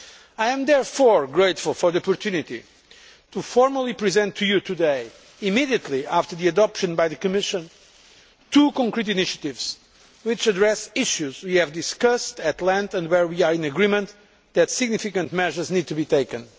I am therefore grateful for the opportunity to formally present to you today immediately after their adoption by the Commission two concrete initiatives which address issues which we have discussed at length and where we are in agreement that significant measures need to be taken.